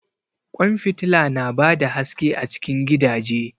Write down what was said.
Ƙwan fitila su na ba da haske a cikin gidaje